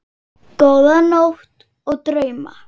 Góða nótt og drauma.